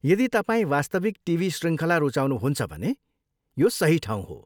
यदि तपाईँ वास्तविक टिभी शृङ्खला रुचाउनुहुन्छ भने यो सही ठाउँ हो।